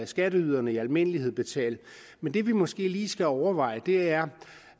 skatteyderne i almindelighed skal betale men det vi måske lige skal overveje er